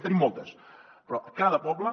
en tenim moltes però a cada poble